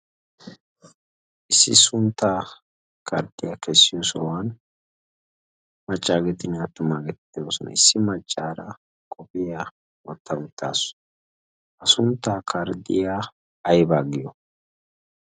issi sunttaa kardxiyaa kessiyo sohuwan machchaageetin aattumaa getittayoosona issi maccaara qofiya wotta uttaasu ha sunttaa kardxiyaa aybaa giyo?